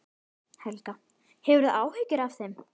Helga: Hefurðu áhyggjur af þeim?